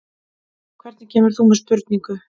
Hvernig kemur þú með spurningu?